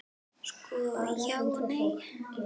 Sko, já og nei.